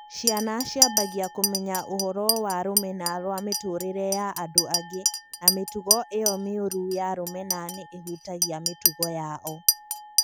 Ciana ciambagia kũmenya ũhoro wa rũmena rwa Mĩtũũrĩre ya andũ angĩ na mĩtugo ĩyo mĩũru ya rũmena nĩ ĩhutagia mĩtugo yao.